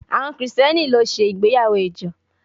Àwọn Kristẹni ló ṣe ìgbéyàwó ìjọ